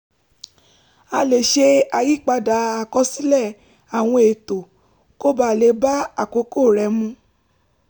a lè ṣe àyípadà àkọsílẹ̀ àwọn ètò kó ba lè bá àkókò rẹ mu